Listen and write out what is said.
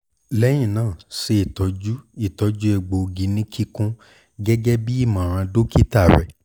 lẹhinna ṣe itọju itọju egboogi ni kikun gẹgẹbi imọran dokita rẹ